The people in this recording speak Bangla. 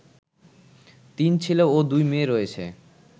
তিন ছেলে ও দুই মেয়ে রয়েছে